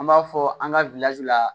An b'a fɔ an ka la